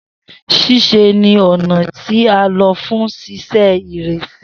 Sise ni ọna ti a lo fun sise iresi.